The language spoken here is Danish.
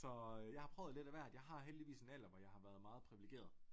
Så jeg har prøvet lidt af hvert jeg har heldigvis en alder hvor jeg har været meget privilegeret